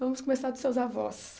Vamos começar dos seus avós.